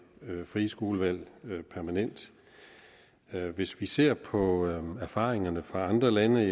frie skolevalg permanent hvis vi ser på erfaringerne fra andre lande